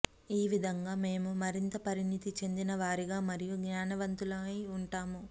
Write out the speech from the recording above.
ఈ విధంగా మేము మరింత పరిణతి చెందినవారిగా మరియు జ్ఞానవంతులై ఉంటాము